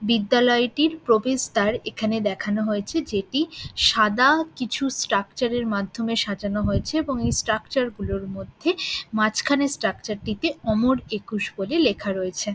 বিদ্যালয়টির প্রবেশদ্বার এখানে দেখানো হয়েছে যেটি সাদা কিছু স্ট্রাকচার এর মাধ্যমে সাজানো হয়েছে এবং এই স্ট্রাকচার গুলোর মধ্যে মাঝখানের স্ট্রাকচার টিতে অমর একুশ বলে লেখা রয়েছে ।